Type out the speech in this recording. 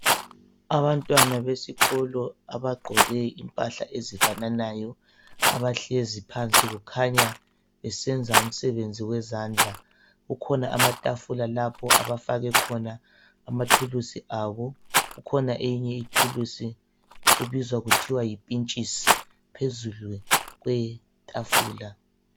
Abantwana besikolo abagqoke impahla ezifananayo abahlezi phansi kukhanya besenza umsebenzi wezandla. Kukhona amatafula lapho abafake khona amathuluzi abo kukhona enye ithuluzi ebizwa kuthiwa yipintshisi phezulu kwetafula.